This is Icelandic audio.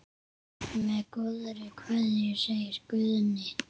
Með góðri kveðju, segir Guðni.